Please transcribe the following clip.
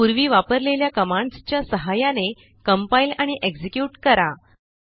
पूर्वी वापरलेल्या कमांडसच्या सहाय्याने कंपाइल आणि एक्झिक्युट करा